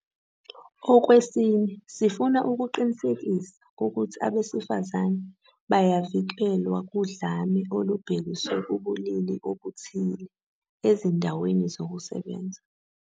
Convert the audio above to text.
Okwesine, sifuna ukuqinisekisa ukuthi abesifazane bayavikelwa kudlame olubhekiswe kubulili obuthile ezindaweni zokusebenza.